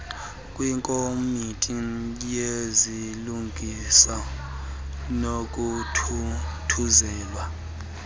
kwikomiti yezilungiso nokuthuthuzelwa